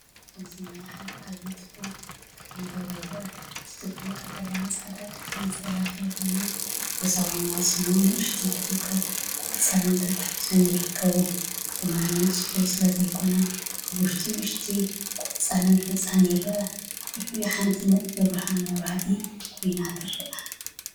ኣብዚ ማይ ሓደ ዓቢ ቱቦ ክሕንበብ ይረአ። እቲ ቱቦ ቀጠልያን ጻዕዳን ቀለም ዝተለኽየ ኮይኑ፡ኣብ ወሰናስኑ ንኣሽቱ ተኽልታትን ቆጽልን ተተሓሒዙ ይርከብ። እቲ ማይ ንጹር ስለዘይኮነ፡ ኣብ ውሽጡ ንኣሽቱ ቆጽልን ሑጻን ይረአ። ኣብ ልዕሊኡ ሓንቲ ነጥቢ ብርሃን መብራህቲ ኮይና ትረአ።